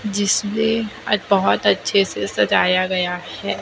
आज बहोत अच्छे से सजाया गया है।